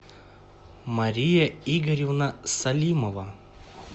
мария игоревна салимова